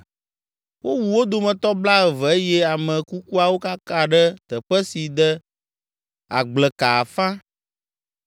Wowu wo dometɔ blaeve eye ame kukuawo kaka ɖe teƒe si de agbleka afã.